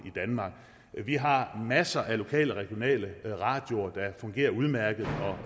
i danmark vi har masser af lokal og regionalradioer der fungerer udmærket og